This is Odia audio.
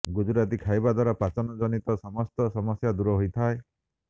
ଗୁଜୁରାତି ଖାଇବା ଦ୍ୱାରା ପାଚନ ଜନିତ ସମସ୍ତ ସମସ୍ୟା ଦୂର ହୋଇଥାଏ